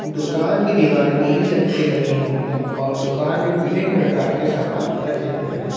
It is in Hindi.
दुकान की दीवारें नीली रंग से रंगी हुई हैं और दुकान में विभिन्न प्रकार के सामान रखे हुए हैं।